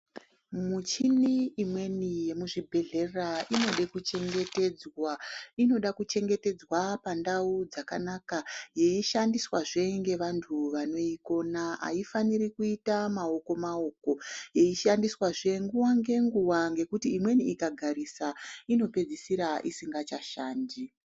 Muchini imweni yemu zvibhedhlera inode kuchengetedzwa. Inoda kuchengetedzwa pandau dzakanaka yeishandiswazve ngevantu vanoikona. Haifaniri kuita maoko maoko yeishandiswazve nguwa ngenguwa ngekuti imweni ikagarisa ino pedzisira isinga chashandi.